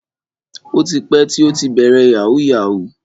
O ti pẹ́ tí ó ti bẹ̀rẹ̀ yahoo yahoo.